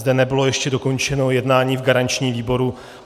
Zde nebylo ještě dokončeno jednání v garančním výboru.